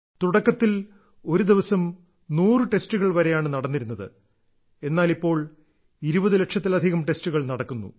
തുടക്കത്തിൽ ഒരു ദിവസം 100 ടെസ്റ്റുകൾ വരെയാണ് നടന്നിരുന്നത് എന്നാൽ ഇപ്പോൾ 20 ലക്ഷത്തിലധികം ടെസ്റ്റുകൾ നടക്കുന്നു